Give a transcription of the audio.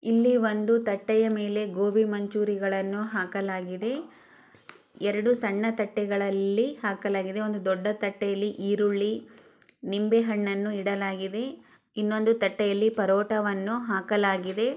ಇಲ್ಲಿ ಒಂದು ತಟ್ಟೆಯ ಮೇಲೆ ಗೂಬಿ ಮಂಚೂರಿಗಳನು ಹಾಕಲಾಗಿದೆ ಎರೆಡು ಸಣ್ಣ ತಟ್ಟೆಗಳಲ್ಲಿ ಹಾಕಲಾಗಿದೆ ಒಂದು ದೂಡ್ಡ ತಟ್ಟೆಯಲ್ಲಿಈರುಳ್ಳಿ ನಿಂಬೆ ಹಣ್ಣು ಇಡಲಾಗಿದೆ ಇನ್ನೊಂದು ತಟ್ಟೆಯಲ್ಲಿ ಪರೋಟವನು ಹಾಕಲಾಗಿದೆ.